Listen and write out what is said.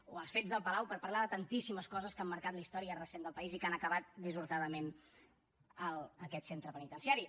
o els fets del palau per parlar de tantíssimes coses que han marcat la història recent del país i que han acabat dissortadament en aquest centre penitenciari